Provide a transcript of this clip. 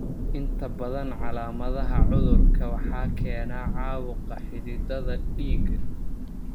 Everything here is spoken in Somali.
Inta badan calaamadaha cudurka waxaa keena caabuqa xididdada dhiigga.